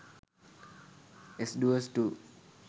s duos 2